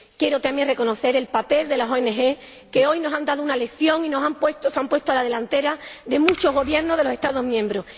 Quiero también reconocer el papel de las ONG que hoy nos han dado una lección y se han puesto a la delantera de muchos Gobiernos de los Estados miembros